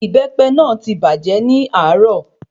Ìbépe náà ti bàjē ni àárò